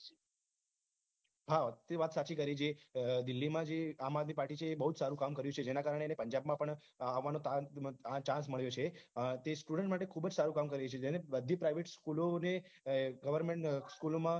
હા તે વાત સાચી કરી જે દિલ્લી મા જે આમઆદમી party છે બહુ સારું કામ કર્યું છે તેના કારણે પંજાબમાં પણ આવાનો chance મળ્યો છે અ તે student માટે ખુબ જ સારું કામ કરે છે જેને બધીજ private school ને goverment school મા